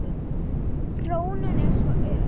Þróunin er svo ör.